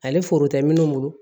Ale foro tɛ minnu bolo